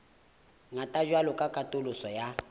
ngata jwalo ka katoloso ya